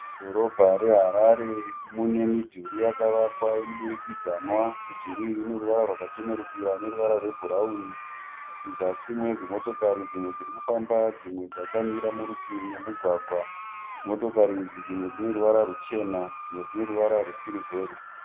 Mudhorobha reHarare mune midhuri yakavakwa yemudurikidzanwa. Midhuri iyi ine ruvara rwaka chenerukira neruvara rwebhurauni. Muzasi mune dzimotokari dzimwe dziri kufamba dzimwe dzakamira murutivi memugwagwa. Motokari idzi dzimwe dzine ruvara ruchena dzimwe dzine ruvara rwesirivheri.